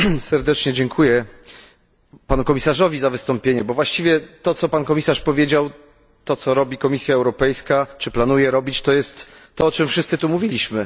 Serdecznie dziękuję Panu Komisarzowi za wystąpienie, bo właściwie to, co Pan Komisarz powiedział, to, co robi Komisja Europejska, czy planuje robić, to jest to, o czym wszyscy tu mówiliśmy.